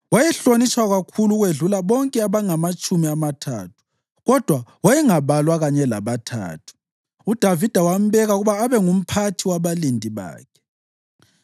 Wayehlonitshwa kakhulu ukwedlula bonke abangamaTshumi Amathathu, kodwa wayengabalwa kanye labaThathu. UDavida wambeka ukuba abe ngumphathi wabalindi bakhe.